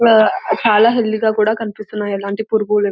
ఆహ్ చాలా హెల్తీ గా కూడా కనిపిస్తున్నాయి. ఏలాంటి --